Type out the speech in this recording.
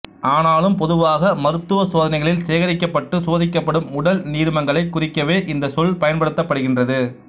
ஆனாலும் பொதுவாக மருத்துவச் சோதனைகளில் சேகரிக்கப்பட்டு சோதிக்கப்படும் உடல் நீர்மங்களைக் குறிக்கவே இந்தச் சொல் பயன்படுத்தப்படுகின்றது